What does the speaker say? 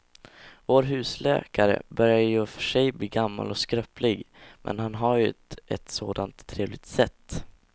Vår husläkare börjar i och för sig bli gammal och skröplig, men han har ju ett sådant trevligt sätt!